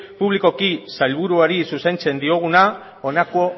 publikoko sailburuari zuzentzen dioguna honako